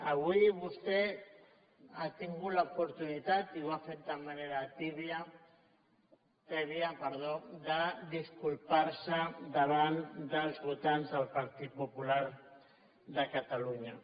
avui vostè ha tingut l’oportunitat i ho ha fet de manera tèbia de disculpar se davant dels votants del partit popular de catalunya